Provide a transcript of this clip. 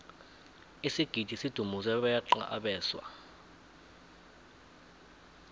isigidi sidumuze beqa abeswa